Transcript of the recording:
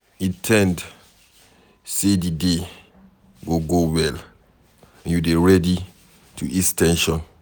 In ten d sey di day go go well and you dey ready to ease ten sion